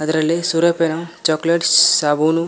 ಇದರಲ್ಲಿ ಸೂರ್ಯಾಪೆನು chocolates ಸಾಬೂನು.